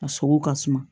A sogo ka suma